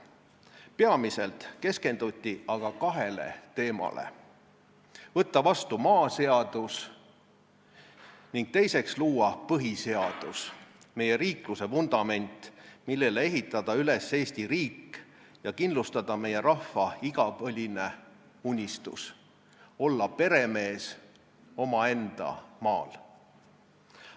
Peamiselt keskenduti aga kahele teemale: võtta vastu maaseadus ning luua põhiseadus, meie riikluse vundament, millele ehitada üles Eesti riik ja kindlustada meie rahva igipõline unistus – olla peremees omaenda maal.